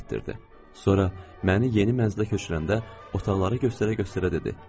Sonra məni yeni mənzilə köçürəndə, otaqları göstərə-göstərə dedi: